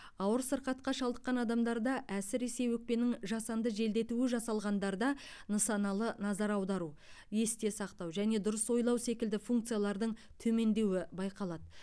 ауыр сырқатқа шалдыққан адамдарда әсіресе өкпенің жасанды желдетуі жасалғандарда нысаналы назар аудару есте сақтау және дұрыс ойлау секілді функциялардың төмендеуі байқалады